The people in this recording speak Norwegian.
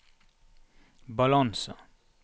balanse